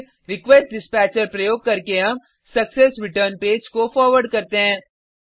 फिर रिक्वेस्टडिस्पैचर प्रयोग करके हम सक्सेसरेटर्न पेज को फॉरवर्ड करते हैं